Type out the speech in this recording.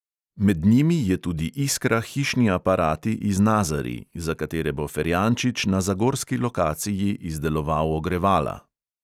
Med njimi je tudi iskra, hišni aparati, iz nazarij, za katere bo ferjančič na zagorski lokaciji izdeloval ogrevala.